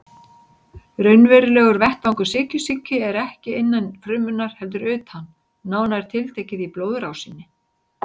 Raunverulegur vettvangur sykursýki er ekki innan frumunnar heldur utan, nánar tiltekið í blóðrásinni.